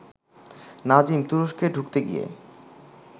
নাজিম তুরস্কে ঢুকতে গিয়ে